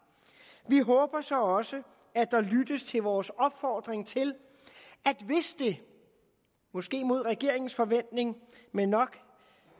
vi håber så også at der lyttes til vores opfordring til at hvis det måske mod regeringens forventning men nok